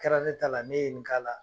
Kɛra ne ta la ne ye n k'a la.